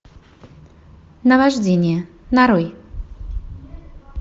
навождение нарой